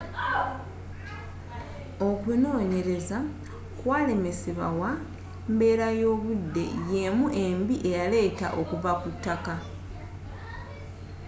okunonyereza kwalemesebawa embeera y'obudde y'emu embi eyaleeta okuva kutaka